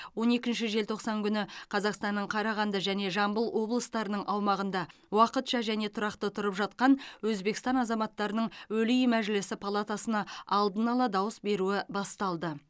он екінші желтоқсан күні қазақстанның қарағанды және жамбыл облыстарының аумағында уақытша және тұрақты тұрып жатқан өзбекстан азаматтарының өлий мәжілісі палатасына алдын ала дауыс беруі басталды